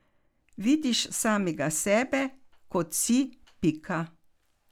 Vidiš samega sebe, kot si, pika.